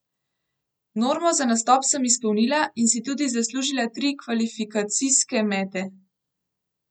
Normo za nastop sem izpolnila in si tudi zaslužila tri kvalifikacijske mete.